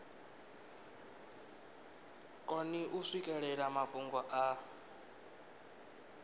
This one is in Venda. koni u swikelela mafhungo a